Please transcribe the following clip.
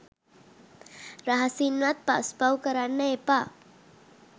රහසින්වත් පස් පව් කරන්න එපා